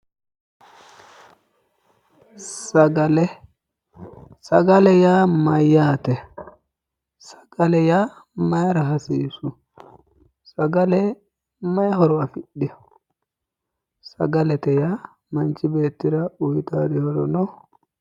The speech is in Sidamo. Sagale. Sagale yaa mayyaate? Sagale mayira hasiissu? Sagale mayi horo afidhiwo? Sagalete yaa manchi beettira uyitaati horo no?